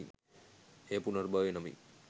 එය පුනර්භවය නමින්